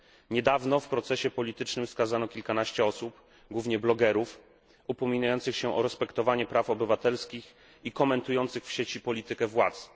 Niedawno w procesie politycznym skazano kilkanaście osób, głównie blogerów, upominających się o przestrzeganie praw obywatelskich i komentujących w sieci politykę władz.